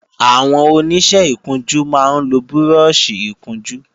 Àwọn Oníṣẹ́ ìkunjú máa ń lo búrọ́ọ̀ṣì ìkunjú